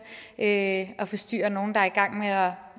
at forstyrre nogle der er i gang med at